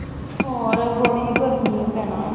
ਹੋਰ ਬੜੀ ਗਰਮੀ ਆ ਭੈਣਾ।